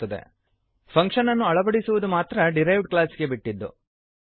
function ಅನ್ನು ಅಳವಡಿಸುವದು implement ಮಾಡುವದು ಮಾತ್ರ ಡಿರೈವ್ಡ್ ಕ್ಲಾಸ್ಗೆ ಬಿಟ್ಟಿದ್ದು